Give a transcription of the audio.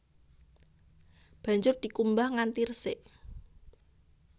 Banjur dikumbah nganti resik